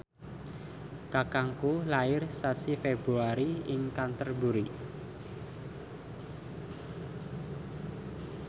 kakangku lair sasi Februari ing Canterbury